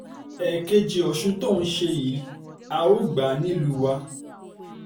ẹ̀ẹ̀kejì ọ̀sùn tó ń ṣe yìí a ó gbà á nílùú wa